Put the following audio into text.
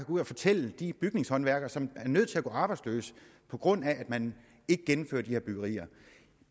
ud og fortælle de bygningshåndværkere som er nødt til at gå arbejdsløse på grund af at man ikke gennemfører de her byggerier